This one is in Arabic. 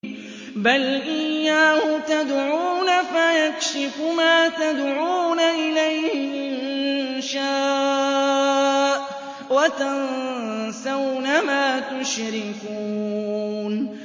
بَلْ إِيَّاهُ تَدْعُونَ فَيَكْشِفُ مَا تَدْعُونَ إِلَيْهِ إِن شَاءَ وَتَنسَوْنَ مَا تُشْرِكُونَ